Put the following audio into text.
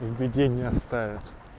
в беде не оставят